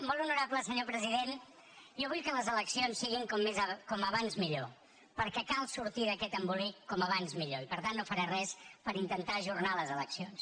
molt honorable senyor president jo vull que les eleccions siguin com més aviat millor perquè cal sortir d’aquest embolic com més aviat millor i per tant no faré res per intentar ajornar les eleccions